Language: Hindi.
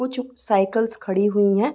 कुछ साइकल्स खड़ी हुई हैं।